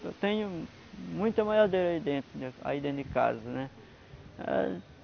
Eu tenho muita maiadeira aí dentro mesmo, aí dentro de casa, né?